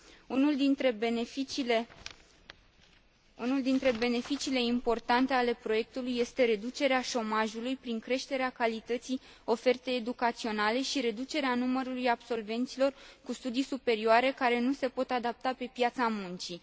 Unul dintre beneficiile importante ale proiectului este reducerea șomajului, prin creșterea calității ofertei educaționale și reducerea numărului absolvenților cu studii superioare care nu se pot adapta pe piața muncii.